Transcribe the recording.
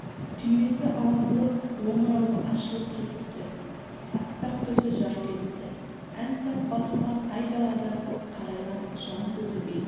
түймесі ағытылып омырауы ашылып кетіпті аппақ төсі жарқ етті ән сап басылған айдалада қарайған жан көрінбейді